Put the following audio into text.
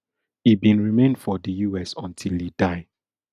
e bin remain for di us until e die